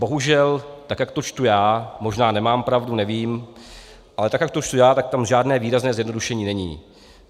Bohužel, tak jak to čtu já, možná nemám pravdu, nevím, ale tak jak to čtu já, tak tam žádné výrazné zjednodušení není.